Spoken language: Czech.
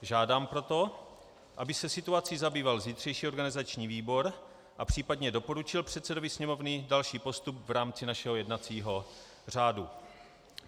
Žádám proto, aby se situací zabýval zítřejší organizační výbor a případně doporučil předsedovi Sněmovny další postup v rámci našeho jednacího řádu.